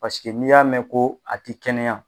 Paseke n'i y'a mɛn ko a tɛ kɛnɛya